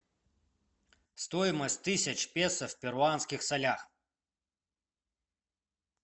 стоимость тысяч песо в перуанских солях